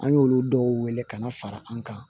An y'olu dɔw wele ka na fara an kan